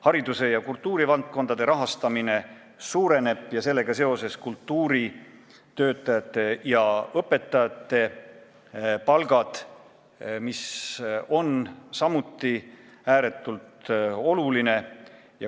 Hariduse- ja kultuurivaldkonna rahastamine suureneb ja sellega seoses kasvavad kultuuritöötajate ja õpetajate palgad, mis on samuti ääretult oluline.